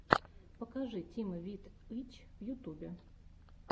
покажи тим вит ы ч в ютубе